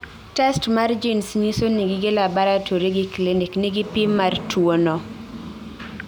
Test mar genes nyiso ni gige laboratory gi clinic nigi pim mar tuo no